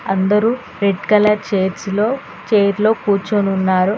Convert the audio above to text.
అందరు red colour చైర్సలో చైర్లో కూర్చొనున్నారు.